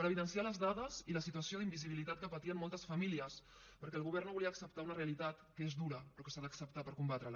per evidenciar les dades i la situació d’invisibilitat que patien moltes famílies perquè el govern no volia acceptar una realitat que és dura però que s’ha d’acceptar per combatrela